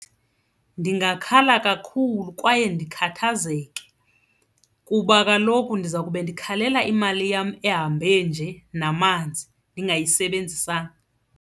Ndingakhala kakhulu kwaye ndikhathazekile kuba kaloku ndiza kube ndikhangela imali yam ahambe nje namanzi ndingayisebenzisanga.